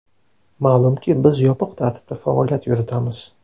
Ma’lumki, biz yopiq tartibda faoliyat yuritamiz.